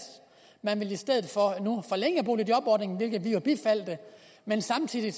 man ville nu i stedet for forlænge boligjobordningen hvilket vi jo bifaldt men samtidig